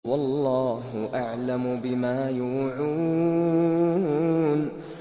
وَاللَّهُ أَعْلَمُ بِمَا يُوعُونَ